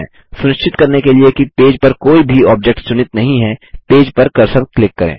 सुनिश्चित करने के लिए कि पेज पर कोई भी ऑब्जेक्ट्स चुनित नहीं हैं पेज पर कर्सर क्लिक करें